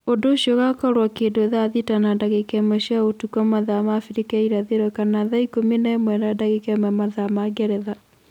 Ũndu ũcio ũgakorwo kindu thaa thita na ndagika ĩmwe cia utuku mathaa ma Abirika ya irathiro kana thaa ikumi na imwe na dagika imwe mathaa ma Ngeretha